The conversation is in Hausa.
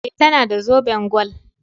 E, tana da zoben gwal.